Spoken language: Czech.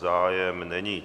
Zájem není.